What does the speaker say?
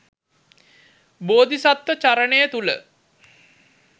බෝධිසත්ව චරණය තුළ